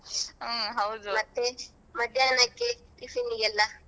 ಹ್ಮ್ ಹೌದು ಮತ್ತೇ ಮಧ್ಯಾಹ್ನಕ್ಕೇ tiffin ಗೆಲ್ಲಾ.